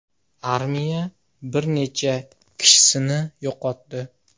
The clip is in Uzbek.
Armiya bir necha kishisini yo‘qotdi.